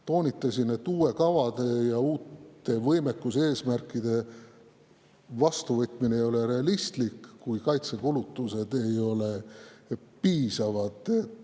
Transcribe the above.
Toonitasin, et uute kavade ja uute võimekuseesmärkide vastuvõtmine ei ole realistlik, kui kaitsekulutused ei ole piisavad.